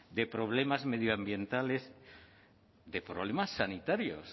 de problemas medioambientales de problemas sanitarios